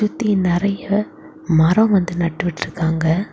சுத்தி நரைய மரம் வந்து நட்டு விட்ருக்காங்க.